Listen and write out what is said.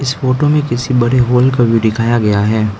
इस फोटो में किसी बड़े हॉल का व्यू दिखाया गया है।